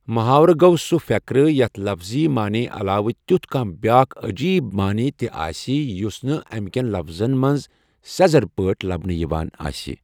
محاورٕ گۆو سُہ فؠقرٕ یَتھ لفظی مانے علاوٕ تیُتھ کانٛہہ بیٛاکھ عجیٖب مانے تہِ آسہِ یُس نہٕ أمی کؠن لفظن مَنٛز سؠزرٕ پٲٹی لبنہٕ یِوان آسہِ